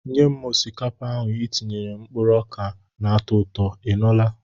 Nye m osikapa etinyere mkpụrụ oka na-atọ ụtọ, ị nụla?